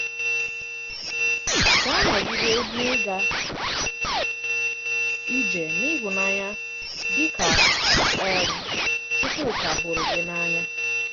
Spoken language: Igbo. Gà-anọgide n’ị́gà ije n’ịhụ̀nanya, dị kà um Chukwuka hụrụ gị n’anya.